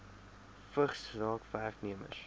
vigs raak werknemers